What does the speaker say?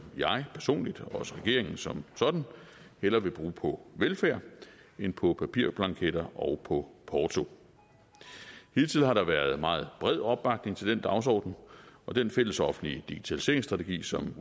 jeg personligt og også regeringen som sådan hellere vil bruge på velfærd end på papirblanketter og på porto hidtil har der været en meget bred opbakning til den dagsorden og den fællesoffentlige digitaliseringsstrategi som